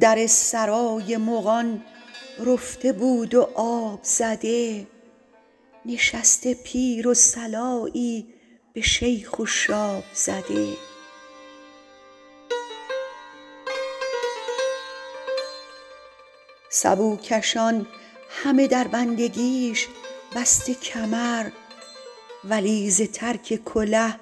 در سرای مغان رفته بود و آب زده نشسته پیر و صلایی به شیخ و شاب زده سبوکشان همه در بندگیش بسته کمر ولی ز ترک کله